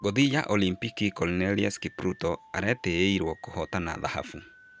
Ngũthi ya olimpiki Conseslus Kipruto etereirũo kũhotana thahabu